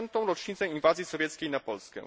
70. rocznicę inwazji sowieckiej na Polskę.